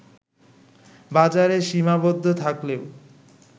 বাজারে সীমাবদ্ধ থাকলেও